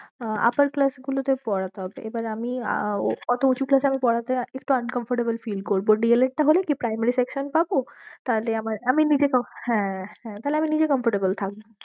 আহ upper class গুলোতে পড়াতে হবে, এবার আমি আহ ও ওতো উঁচু class এ আমিপড়াতে একটু uncomfortable feel করবো D. el. ed টা হলে কি primary section পাবো তাহলে আমার আমি নিজে com~ হ্যাঁ হ্যাঁ তাহলে আমি নিজে comfortable থাকবো।